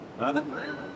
Andım?